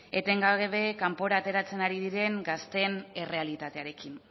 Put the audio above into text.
etengabe kanpora ateratzen ari diren gazteen errealitatearekin